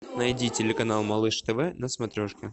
найди телеканал малыш тв на смотрешке